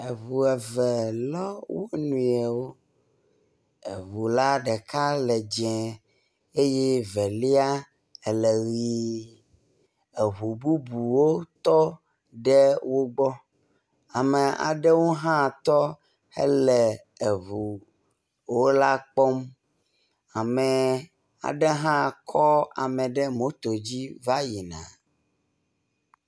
eʋueve lɔ wóniɔwo eʋula ɖeka le dzɛ̃ eye ɖeka ele ɣi, eʋu bubuwo tɔ ɖe wogbɔ, ame aɖewo hã tɔ hele eʋu wó la kpɔm ame aɖe hã kɔ ame ɖe moto dzi va yina